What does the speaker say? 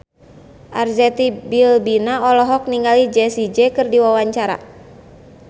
Arzetti Bilbina olohok ningali Jessie J keur diwawancara